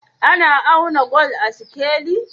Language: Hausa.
Ana auna gwal da sikeli?